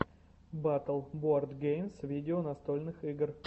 батл боардгеймс видео настольных игр